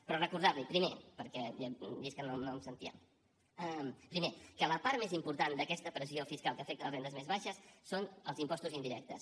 però recordar li primer perquè he vist que no em sentia que la part més important d’aquesta pressió fiscal que afecta les rendes més baixes són els impostos indirectes